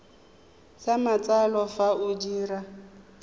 sa matsalo fa o dira